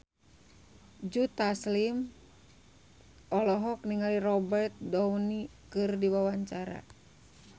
Joe Taslim olohok ningali Robert Downey keur diwawancara